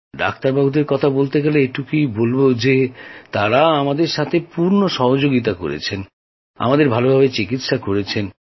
ডাক্তারদের কথা বলতে গেলে এটুকুই বলবো যে তাঁরা আমাদের সঙ্গে পূর্ণ সহযোগিতা করেন আমাদের ভালোভাবে চিকিৎসা করেন